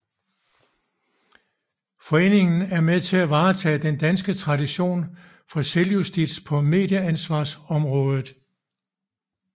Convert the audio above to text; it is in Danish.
Foreningen er med til at varetage den danske tradition for selvjustits på medieansvarsområdet